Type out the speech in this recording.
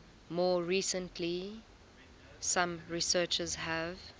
more recently some researchers have